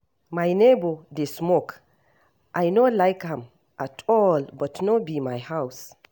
My neighbor dey smoke, I no like am at all but no be my house